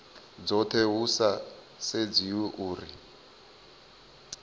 dzothe hu sa sedziwi uri